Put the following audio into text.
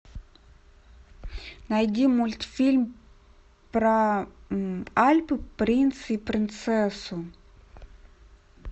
найди мультфильм про альпы принца и принцессу